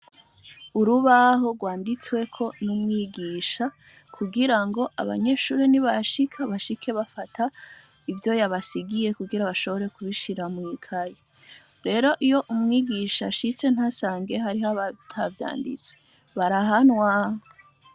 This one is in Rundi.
Urubaho rwanditsweko n'umwigisha kugira ngo abanyeshuri ni bashika bashike bafata ivyo yabasigiye kugira bashobore kubishira mw'ikaye rero iyo umwigisha ashitse ntasange hariho abata vyanditse barahanwa.